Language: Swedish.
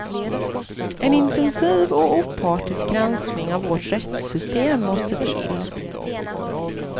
En intensiv och opartisk granskning av vårt rättssystem måste till.